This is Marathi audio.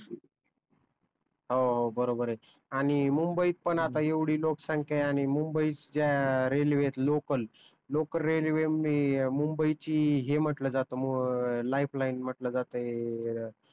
हो हो बरोबर च आणि मुंबईत पण आता एवढी लोकसंख्या आहे आणि मुंबई ज्या रेलवे आहेत लोकल, लोकल रेलवे मध्ये मुंबई ची हे म्हटल जात अं लाइफ लाइन म्हटल जात हे